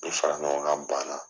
Ni faraɲɔgɔnkan banna.